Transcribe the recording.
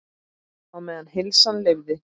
Á meðan heilsan leyfði.